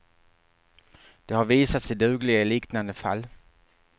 De har visat sig dugliga i liknande fall.